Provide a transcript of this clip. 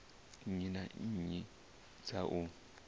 nnyi na nnyi dza u